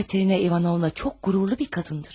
Katerina İvanovna çox qürurlu bir qadındır.